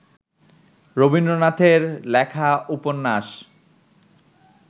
রবীন্দ্রনাথের লেখা উপন্যাস